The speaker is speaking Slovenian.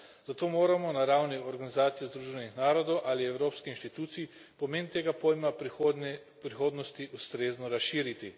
Zato moramo na ravni Organizacije združenih narodov ali evropskih institucij pomen tega pojma v prihodnosti ustrezno razširiti.